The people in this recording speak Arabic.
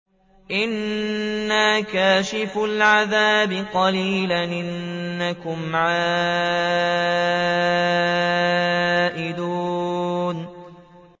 إِنَّا كَاشِفُو الْعَذَابِ قَلِيلًا ۚ إِنَّكُمْ عَائِدُونَ